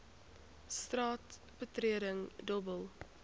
straat betreding dobbel